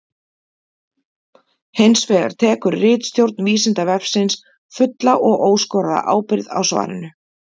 Hins vegar tekur ritstjórn Vísindavefsins fulla og óskoraða ábyrgð á svarinu.